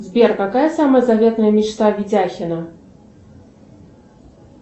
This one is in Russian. сбер какая самая заветная мечта витяхина